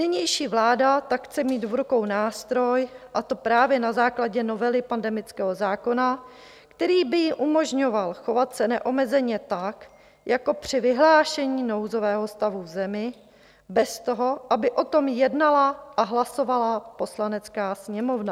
Nynější vláda tak chce mít v rukou nástroj, a to právě na základě novely pandemického zákona, který by jí umožňoval chovat se neomezeně tak, jako při vyhlášení nouzového stavu v zemi, bez toho, aby o tom jednala a hlasovala Poslanecká sněmovna.